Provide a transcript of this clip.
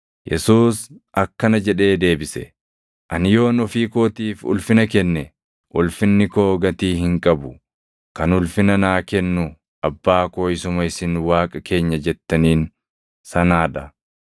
Yesuus akkana jedhee deebise; “Ani yoon ofii kootiif ulfina kenne, ulfinni koo gatii hin qabu. Kan ulfina naa kennu Abbaa koo isuma isin Waaqa keenya jettaniin sanaa dha.